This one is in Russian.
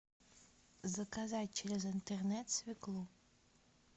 заказать через интернет свеклу